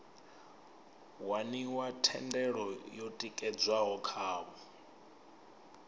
waniwa thendelo yo tikedzwaho khavho